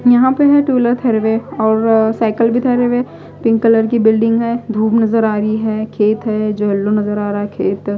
यहां पे है टू व्हीलर थरवे और साइकिल भी ठहरे हुए पिंक कलर की बिल्डिंग है धूप नजर आ रही है खेत है जो येलो नजर आ रहा है खेत--